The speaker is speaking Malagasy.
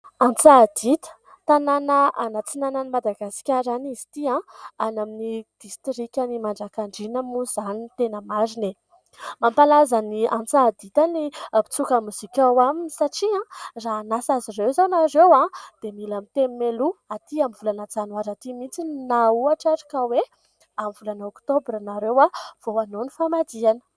Antsahadinta, tanàna any antsinanan' i Madagasikara any izy ity. Any amin'ny distrikan'i Manjakandriana moa izany no tena marina e ! Mampalaza ny Antsahadinta ny mpitsoka mozika ao aminy, satria raha hanasa azy ireo izao inareo dia mila miteny mialoha, aty amin'ny volana janoary aty mihitsy na ohatra ary ka hoe amin'ny volana oktobra ianareo vao hanaa ny famadihana.